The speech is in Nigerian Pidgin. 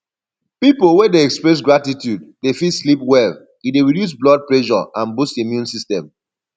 pipo wey de express gratitude de fit sleep well e de reduce blood pressure and boost immune system